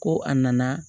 Ko a nana